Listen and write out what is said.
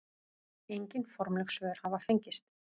Engin formleg svör hafa fengist.